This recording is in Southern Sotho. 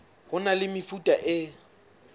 ho na le mefuta e